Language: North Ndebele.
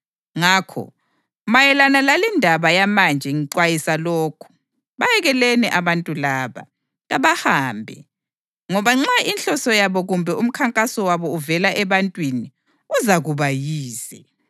Ngakho, mayelana lalindaba yamanje ngixwayisa lokhu: Bayekeleni abantu laba! Kabahambe! Ngoba nxa inhloso yabo kumbe umkhankaso wabo uvela ebantwini, uzakuba yize.